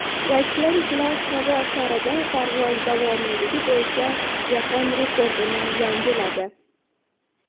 Rossiyaliklar havo sharida parvoz davomiyligi bo‘yicha jahon rekordini yangiladi.